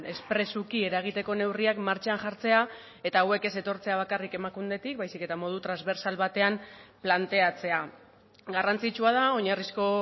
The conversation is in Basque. espresuki eragiteko neurriak martxan jartzea eta hauek ez etortzea bakarrik emakundetik baizik eta modu transbertsal batean planteatzea garrantzitsua da oinarrizko